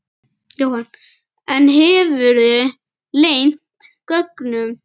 Jóhann: En hefurðu leynt gögnum?